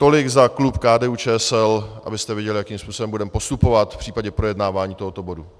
Tolik za klub KDU-ČSL, abyste věděli, jakým způsobem budeme postupovat v případě projednávání tohoto bodu.